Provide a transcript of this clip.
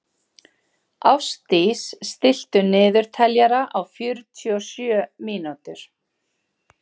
Ástdís, stilltu niðurteljara á fjörutíu og sjö mínútur.